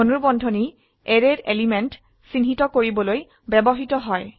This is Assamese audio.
ধনুৰ্বন্ধনী arrayৰ এলিমেন্ট চিহ্নিত কৰিবলৈ ব্যবহৃত হয়